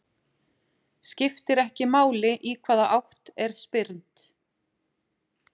Skiptir ekki máli í hvaða átt er spyrnt.